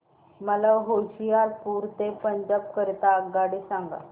मला होशियारपुर ते पंजाब करीता आगगाडी सांगा